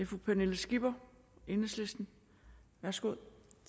fru pernille skipper enhedslisten værsgo